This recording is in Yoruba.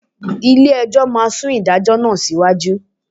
Ilé-ẹjọ́ máa sún ìdájọ́ náà síwájú